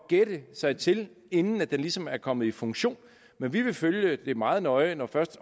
gætte sig til inden den ligesom er kommet i funktion men vi vil følge det meget nøje når først